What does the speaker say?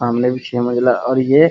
सामने भी छे मज़िला और ये --